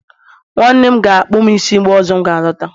nwanne m ga-akpụ m isi mgbe ọzọ m ga alọta